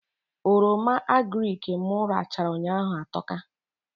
Oroma agrịk mụ rachaa ụnyaahụ atọka